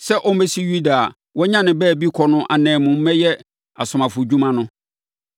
sɛ ɔmmɛsi Yuda a wanya ne baabi kɔ no ananmu mmɛyɛ asomafodwuma no.”